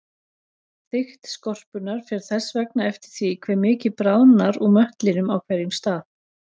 Þykkt skorpunnar fer þess vegna eftir því hve mikið bráðnar úr möttlinum á hverjum stað.